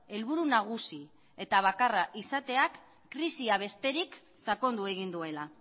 helburu nagusi eta bakarra izateak krisia besterik sakondu egin duela